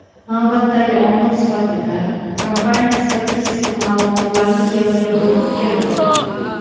Navbatdagi omil sifatida kompaniya statistik ma’lumotlarni keltirib o‘tgan.